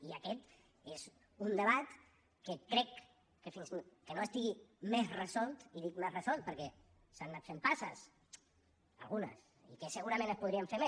i aquest és un debat que crec que fins que no estigui més resolt i dic més resolt perquè s’han anat fent passes algunes i que segurament se’n podrien fer més